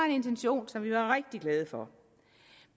en intention som vi var rigtig glade for